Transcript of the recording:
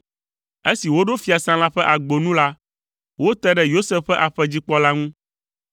Esi woɖo fiasã la ƒe agbo nu la, wote ɖe Yosef ƒe aƒedzikpɔla ŋu,